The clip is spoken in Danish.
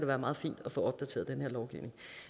være meget fint at få opdateret den her lovgivning